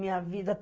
Minha vida.